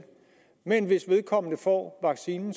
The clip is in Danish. men hvis vedkommende får vaccinen